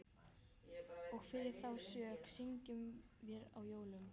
Og fyrir þá sök syngjum vér á jólum